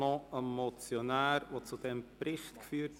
Seine Motion hat zu diesem Bericht geführt.